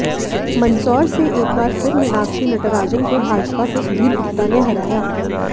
मंदसौर से एक बार फिर मीनाक्षी नटराजन को भाजपा के सुधीर गुप्ता ने हराया